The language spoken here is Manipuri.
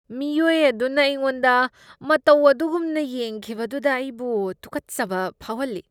ꯃꯤꯑꯣꯏ ꯑꯗꯨꯅ ꯑꯩꯉꯣꯟꯗ ꯃꯇꯧ ꯑꯗꯨꯒꯨꯝꯅ ꯌꯦꯡꯈꯤꯕꯗꯨꯗ ꯑꯩꯕꯨ ꯇꯨꯀꯠꯆꯕ ꯐꯥꯎꯍꯜꯂꯤ꯫